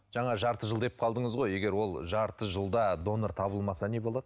жаңа жарты жыл деп қалдыңыз ғой егер ол жарты жылда донор табылмаса не болады